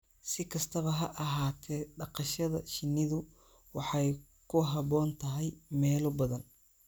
Si kastaba ha ahaatee, dhaqashada shinnidu waxay ku habboon tahay meelo badan.